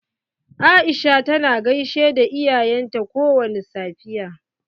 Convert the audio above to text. Aisha tana gaishe da iyayen ta kowani safiya.